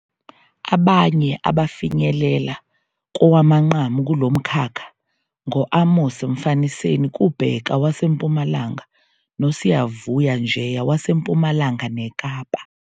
Abanye abafinyelela kowamanqamu kulo mkhakha ngo-Amos Mfaniseni Kubheka waseMpumalanga noSiyavuya Njeya waseMpumalanga neKapa.